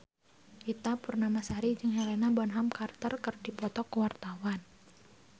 Ita Purnamasari jeung Helena Bonham Carter keur dipoto ku wartawan